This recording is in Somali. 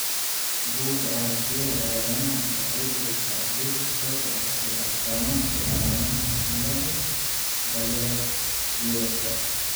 Buugga Aragtiyaha Aadanahawaxay bixisaa liiska soo socda ee astamaha iyo calaamadaha cilada Baller Geroldka .